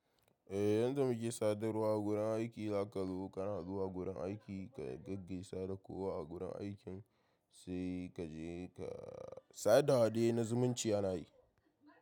Eh, yanda muke sadarwa a gurin aiki, haka lokutan haduwa a gurin aiki ka gaggaisa da kowa a gurin aikin sai kaje ka sada hade na zumunci ana yi.